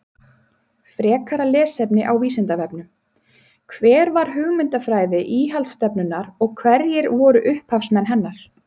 Frekara lesefni á Vísindavefnum: Hver var hugmyndafræði íhaldsstefnunnar og hverjir voru upphafsmenn hennar?